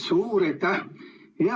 Suur aitäh!